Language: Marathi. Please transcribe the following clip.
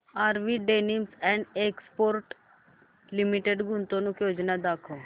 RV denims and exports limited गुंतवणूक योजना दाखव